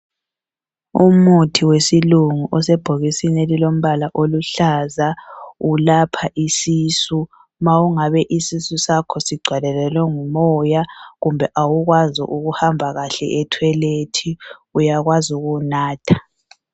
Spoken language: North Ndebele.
Umuthi wesilungu osebhokisini elilombala oluhlaza ylapha isisu ma ungabe isisu sakho sigcwalelane ngumoya kumbe awukwazi ukuhamba kahle ethoyilethi uyakwazi ukuwunatha.